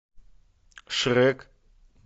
шрек